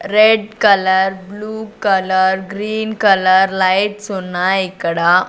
Red colour blue colour green colour lights ఉన్నాయ్ ఇక్కడ.